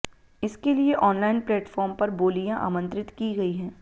इसके लिए online platform पर बोलियां आमंत्रित की गई हैं